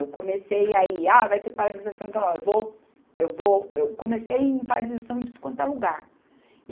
Eu comecei aí, ah, vai ter paralisação, então ó, eu vou, eu vou, eu comecei em paralisação em tudo quanto é lugar.